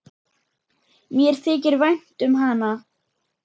Mér þykir vænt um hann.